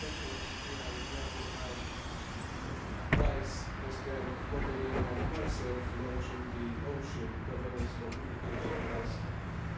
That was the idea behind Vice-President Mogherini and myself launching the Ocean Governance communication last